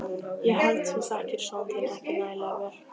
Ég held þú þekkir son þinn ekki nægilega vel.